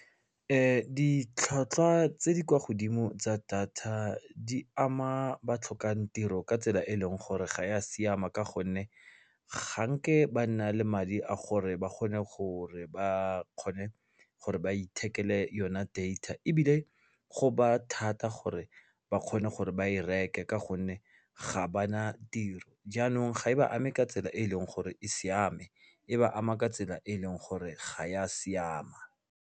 Ditlhwatlhwa tse di kwa godimo tsa data di ama ba tlhokang tiro ka tsela e leng gore ga ya siama ka gonne ga nke ba nna le madi a gore ba kgone gore ba kgone gore ba ithekele yona data ebile go ba thata gore ba kgone gore ba e reke ka gonne ga ba na tiro jaanong ga e ba ame ka tsela e e leng gore e siame e ba ama ka tsela e e leng gore ga ya siama.